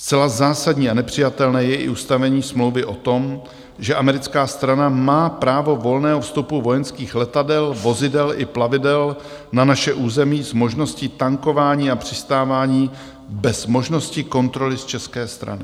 Zcela zásadní a nepřijatelné je i ustavení smlouvy o tom, že americká strana má právo volného vstupu vojenských letadel, vozidel i plavidel na naše území s možností tankování a přistávání bez možnosti kontroly z české strany.